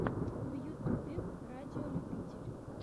в ютубе радиолюбитель